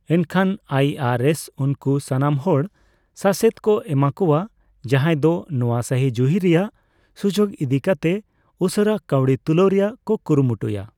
ᱮᱱᱠᱷᱟᱱ I R S ᱩᱱᱠᱚ ᱥᱟᱱᱟᱢ ᱦᱚᱲ ᱥᱟᱥᱮᱛ ᱠᱚ ᱮᱢᱟᱠᱚᱣᱟ ᱡᱟᱦᱟᱭ ᱫᱚ ᱱᱚᱣᱟ ᱥᱟᱦᱤᱡᱩᱦᱤ ᱨᱮᱭᱟᱜ ᱥᱩᱡᱩᱜ ᱤᱫᱤ ᱠᱟᱛᱮᱜ ᱩᱥᱟᱹᱨᱟ ᱠᱟᱹᱣᱰᱤ ᱛᱩᱞᱟᱹᱣ ᱨᱮᱭᱟᱜ ᱠᱚ ᱠᱩᱨᱩᱢᱩᱴᱩᱭᱟ ᱾